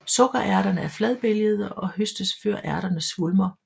Sukkerærterne er fladbælgede og høstes før ærterne svulmer